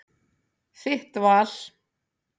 Þitt val.